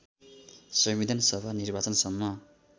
संविधानसभा निर्वाचनसम्म